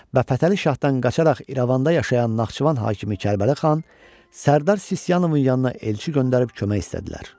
və Fətəli şahdan qaçaraq İrəvanda yaşayan Naxçıvan hakimi Kərbəli xan, Sərdar Sisyanovun yanına elçi göndərib kömək istədilər.